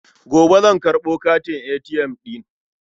Gobe zan karɓo katin ATM ɗin.